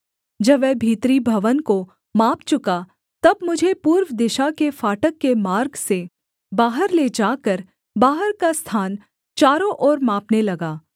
जब वह भीतरी भवन को माप चुका तब मुझे पूर्व दिशा के फाटक के मार्ग से बाहर ले जाकर बाहर का स्थान चारों ओर मापने लगा